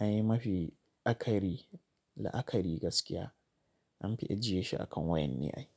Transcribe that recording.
ai mafi akari la akari gaskiya an fi ajiye shi akan wayan ne ai.